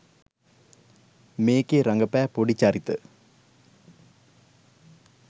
මේකේ රඟපෑ පොඩි චරිත